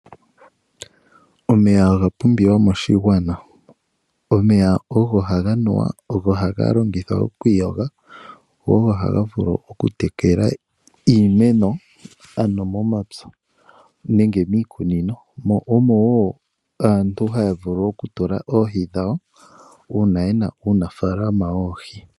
Omeya oga pumbiwa moshigwana. Omeya oha ga nuwa, ha giiyogithwa noku tekela woo iimeno momapya nenge miikunino. Momeya omo woo aantu haa vulu oku tula oohi dhawo uuna ye na uunafaalama woohi.